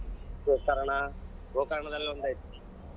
ಗೋಕರ್ಣ ಗೋಕರ್ಣದಲ್ಲಿ ಒಂದ್ ಐತಿ.